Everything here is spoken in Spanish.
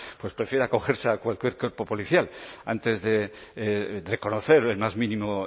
pues prefiera acogerse a cualquier cuerpo policial antes de reconocer el más mínimo